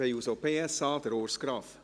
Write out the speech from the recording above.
Für die SP-JUSO-PSA, Urs Graf.